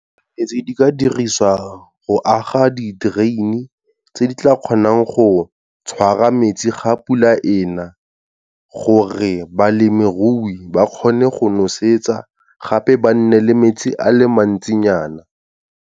Tse di ka dirisiwa go aga di-drain-e, tse di tla kgonang go tshwara metsi ga pula ena, gore balemirui ba kgone go nosetsa gape ba nne le metsi a le mantsinyana.